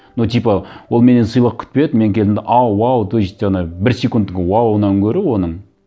ну типа ол менен сыйлық күтпеді мен келдім де ау уау то есть ана бір секундтік уауынан гөрі оның мхм